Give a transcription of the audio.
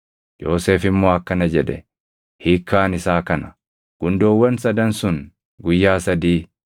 Yoosef immoo akkana jedhe; “Hiikkaan isaa kana; gundoowwan sadan sun guyyaa sadii.